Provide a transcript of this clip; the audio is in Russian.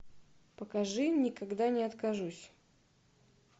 покажи никогда не откажусь